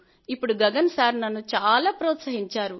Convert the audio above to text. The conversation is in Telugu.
ఇప్పుడు గగన్ సార్ నన్ను చాలా ప్రోత్సహించారు